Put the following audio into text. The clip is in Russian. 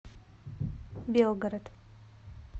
белгород